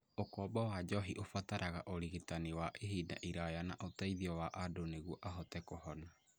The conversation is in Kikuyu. Ũkombo wa njohi ũbataraga ũrigitani wa ihinda iraya na ũteithio wa andũ nĩguo ahote kũhona.